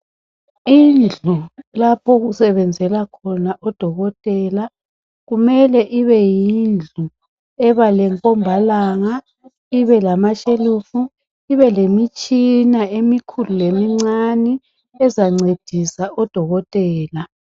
Indlu lapho okusebenzela khona udokotela kumele kubeyindlu eba lenkombalanga, ibe lamashelufu, ibelemitshina emikhulu lemincane ezancedisa odokotela.